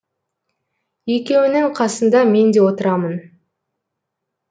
екеуінің қасында мен де отырамын